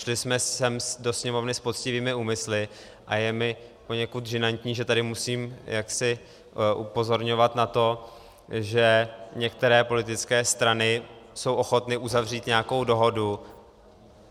Šli jsme sem do Sněmovny s poctivými úmysly a je mi poněkud žinantní, že tady musím jaksi upozorňovat na to, že některé politické strany jsou ochotny uzavřít nějakou dohodu.